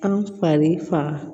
An fari faga